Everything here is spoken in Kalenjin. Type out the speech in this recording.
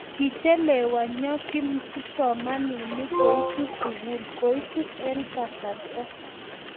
Kichelewanyo kipsomaninik koitu sukul koitu eng kasarta